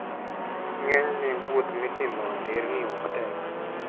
Ng'enyne, wuoth mitimo e nderni ok tek.